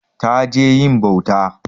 Ta je yin bauta.